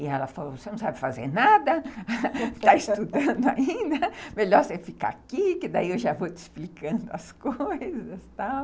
E ela falou, você não sabe fazer nada, está estudando ainda, melhor você ficar aqui que daí eu já vou te explicando as coisas e tal.